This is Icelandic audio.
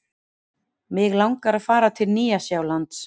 Mig langar að fara til Nýja-Sjálands.